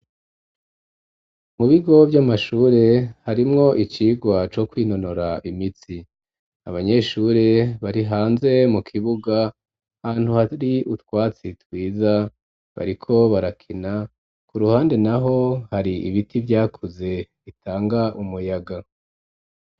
Mu bigo vy'amashure harimwo icigwa co kwinonora imitsi, abanyeshure bari hanze mu kibuga ahantu hari utwatsi twiza bariko barakina, ku ruhande naho hari ibiti vyakuze bitanga umuyaga.